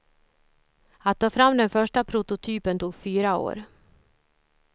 Att ta fram den första prototypen tog fyra år.